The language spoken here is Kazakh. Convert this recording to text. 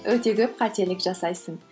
өте көп қателік жасайсың